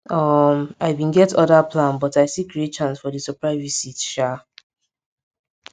um i bin get other plan but i still create chance for di surprise visit sha